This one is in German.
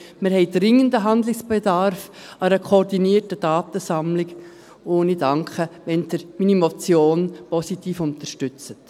Wir haben dringenden Handlungsbedarf an einer koordinierten Datensammlung, und ich danke Ihnen, wenn Sie meine Motion positiv unterstützen.